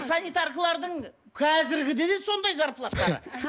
санитаркалардың қазіргіде де сондай